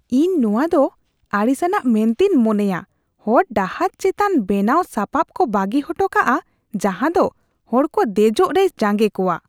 ᱤᱧ ᱱᱚᱶᱟ ᱫᱚ ᱟᱹᱲᱤᱥ ᱟᱱᱟᱜ ᱢᱮᱱᱛᱮᱧ ᱢᱚᱱᱮᱭᱟ ᱦᱚᱲ ᱰᱟᱦᱟᱨ ᱪᱮᱛᱟᱱ ᱵᱮᱱᱟᱣ ᱥᱟᱯᱟᱵ ᱠᱚ ᱵᱟᱹᱜᱤ ᱦᱚᱴᱚ ᱠᱟᱜᱼᱟ ᱡᱟᱦᱟ ᱫᱚ ᱦᱚᱲᱠᱚ ᱫᱮᱡᱚᱜ ᱨᱮᱭ ᱡᱟᱸᱜᱮ ᱠᱚᱭᱟ ᱾